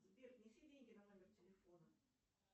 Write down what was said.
сбер внеси деньги на номер телефона